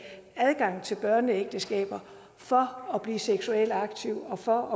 adgang til børneægteskaber for at blive seksuelt aktive og for